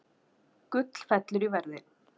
Gull fellur í verði